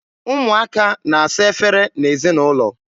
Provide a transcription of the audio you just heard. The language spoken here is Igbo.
Ụmụaka na-asa efere n'ezinaụlọ.